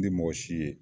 Ni mɔgɔ si ye